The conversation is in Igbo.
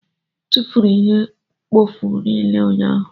M tụfuru ihe mkpofu niile ụnyahụ.